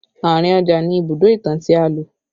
Àárín ọjà ni Ibùdó ìtàn tí a lò